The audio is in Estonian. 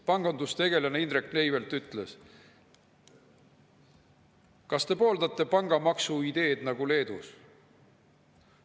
Pangandustegelaselt Indrek Neiveltilt, kas ta pooldab pangamaksu ideed nagu Leedus.